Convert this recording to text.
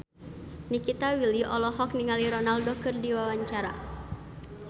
Nikita Willy olohok ningali Ronaldo keur diwawancara